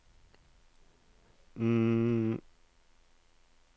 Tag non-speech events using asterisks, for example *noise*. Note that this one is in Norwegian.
*hesitation*